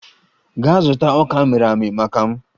Gaa zụta ọka amịrị amị maka m!